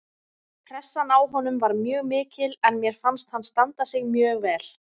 Pressan á honum var mjög mikil en mér fannst hann standa sig mjög vel